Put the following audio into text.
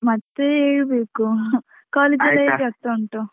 ಮತ್ತೆ ಹೇಳ್ಬೇಕು, ಎಲ್ಲ ಹೇಗ್ ಆಗ್ತಾ ಉಂಟು.